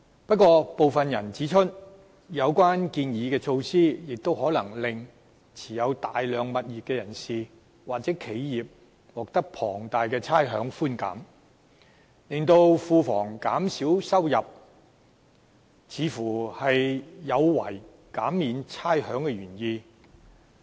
不過，部分人指出，有關建議的措施亦可能令持有大量物業的人士或企業獲得龐大的差餉寬減，因而令庫房減少收入，似乎有違減免差餉的原意。